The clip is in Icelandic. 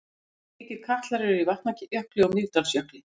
Slíkir katlar eru í Vatnajökli og Mýrdalsjökli.